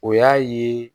O y'a ye